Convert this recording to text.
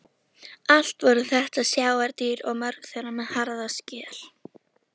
Allt voru þetta sjávardýr og mörg þeirra með harða skel.